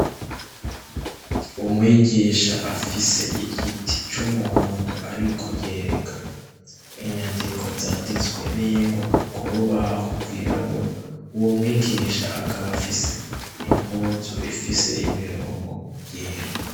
Umwigisha afise igiti c'umuhondo ariko yereka inyandiko zanditswe n'ingwa ku rubaho rwirabura w'umwigisha akaba afise impunzu ifise imirongo yera.